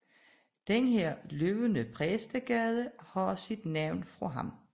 Den her løbende Præstegade har sit navn fra ham